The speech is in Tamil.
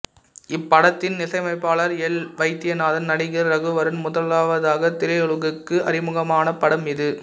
இப்படத்தின் இசையமைப்பாளர் எல் வைத்தியநாதன் நடிகர் ரகுவரன் முதலாவதாக திரையுலகுக்கு அறிமுகமான படம் இது